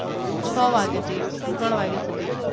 છ વાગ્યા થી ત્રણ વાગ્યા સુુુુુધી